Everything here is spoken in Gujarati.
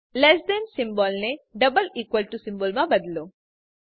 લેસ ધેન સિમ્બોલને ડબલ ઇકવલ ટુ સિમ્બોલ માં બદલો